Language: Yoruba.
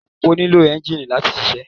Alùpùpù nílò ẹ́ńjìnì láti ṣiṣẹ́.